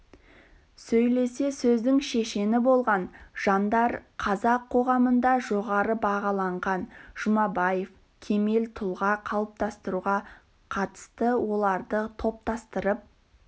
сөйлесе сөздің шешені болған жандар қазақ қоғамында жоғары бағаланған жұмабаев кемел тұлға қалыптастыруға қатысты оларды топтастырып